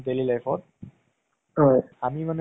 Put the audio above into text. আমাৰ আহ জেত্পুৰত দুটা আছে ন cinema hall